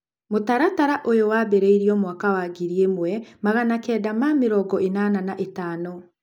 mũtaratara ũyũ wambĩrĩirio mwaka wa ngiri ĩmwe magana kenda ma mĩrongo ĩnana na ĩtano.